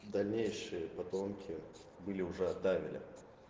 дальнейшие потомки были уже от давеля